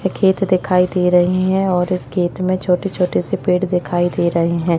खेत दिखाई दे रही हैं और इस खेत में छोटे छोटे से पेड़ दिखाई दे रहे हैं।